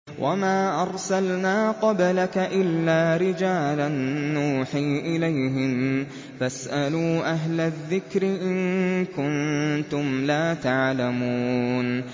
وَمَا أَرْسَلْنَا قَبْلَكَ إِلَّا رِجَالًا نُّوحِي إِلَيْهِمْ ۖ فَاسْأَلُوا أَهْلَ الذِّكْرِ إِن كُنتُمْ لَا تَعْلَمُونَ